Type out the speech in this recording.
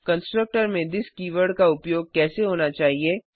constructor में this keyword का उपयोग कैसा होना चाहिए